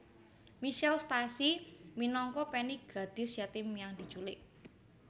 Michelle Stacy minangka Penny gadis yatim yang diculik